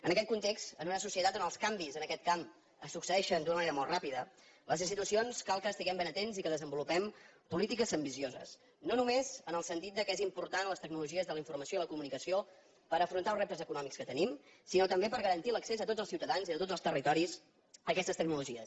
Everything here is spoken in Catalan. en aquest context en una societat on els canvis en aquest camp es succeeixen d’una manera molt ràpida les institucions cal que estiguem ben atents i que desenvolupem polítiques ambicioses no només en el sentit que són importants les tecnologies de la informació i la comunicació per afrontar els reptes econòmics que tenim sinó també per garantir l’accés a tots els ciutadans i de tots els territoris a aquestes tecnologies